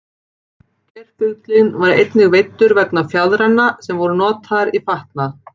Geirfuglinn var einnig veiddur vegna fjaðranna sem voru notaðar í fatnað.